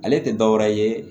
Ale tɛ dɔ wɛrɛ ye